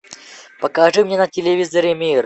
покажи мне на телевизоре мир